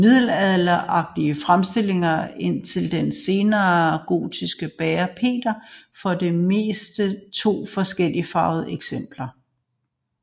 I middelalderlige fremstillinger indtil den sene gotik bærer Peter for det meste to forskelligfarvede eksemplarer